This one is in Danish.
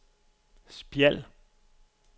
Spjald